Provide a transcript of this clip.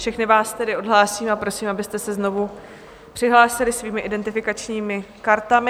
Všechny vás tedy odhlásím a prosím, abyste se znovu přihlásili svými identifikačními kartami.